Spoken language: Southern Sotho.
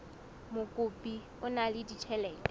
mokopi o na le ditjhelete